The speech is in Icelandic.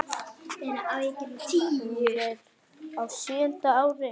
Hún er á sjöunda ári